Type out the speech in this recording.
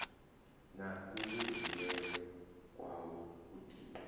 na kuvhulungelwe kwawe u tiwa